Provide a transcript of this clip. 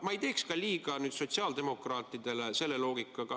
Ma ei teeks ka liiga sotsiaaldemokraatidele, selle loogikaga.